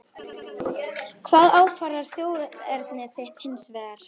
Hvað ákvarðar þjóðerni þitt hins vegar?